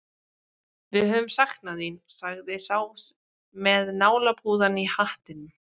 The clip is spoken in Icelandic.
Við höfum saknað þín, sagði sá með nálapúðann í hattinum.